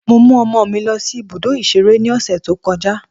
Mo mú ọmọ mi lọ sí ibùdó ìṣeré ní ọ̀sẹ̀ tó kọjá.